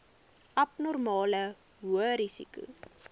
abnormale hoë risiko